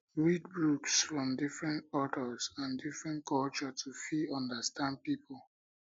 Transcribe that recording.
read books from different authors and different culture to fit understand pipo